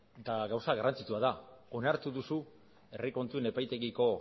eta gauza garrantzitsua da onartu duzu herri kontuen epaitegiko